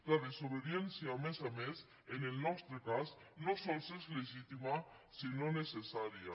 la desobediència a més a més en el nostre cas no sols és legítima sinó necessària